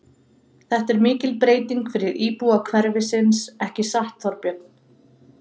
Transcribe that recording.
Þetta er mikil breyting fyrir íbúa hverfisins, ekki satt, Þorbjörn?